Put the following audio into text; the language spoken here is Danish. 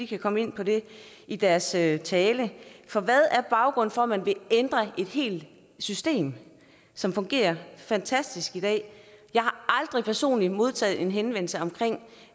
kan komme ind på det i deres tale tale hvad er baggrunden for at man vil ændre et helt system som fungerer fantastisk i dag jeg har aldrig personligt modtaget en henvendelse om